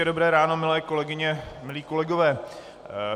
Hezké dobré ráno, milé kolegyně, milí kolegové.